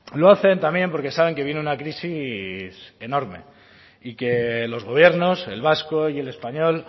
lo hacen también porque saben que viene una crisis enorme y que los gobiernos el vasco y el español